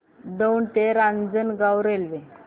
दौंड ते रांजणगाव रेल्वे